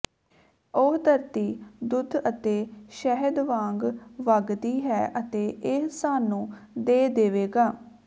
ਉਹ ਧਰਤੀ ਦੁੱਧ ਅਤੇ ਸ਼ਹਿਦ ਵਾਂਗ ਵਗਦੀ ਹੈ ਅਤੇ ਇਹ ਸਾਨੂੰ ਦੇ ਦੇਵੇਗਾ